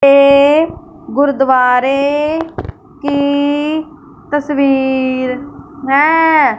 ये गुरुद्वारे की तस्वीर है।